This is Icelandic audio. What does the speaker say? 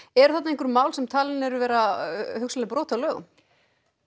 eru þarna einhver mál sem talin eru vera brot á lögum